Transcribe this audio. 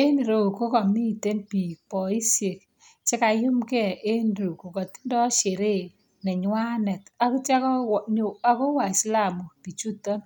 En ireu ko kamiten biik boisiekche kaiyumnge en reyu kokatindo sheree nenywanet ak kitya konyo kowaislamu biichuton.